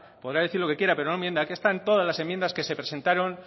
podrá decir lo que quiera pero no mienta aquí están todas las enmiendas que se presentaron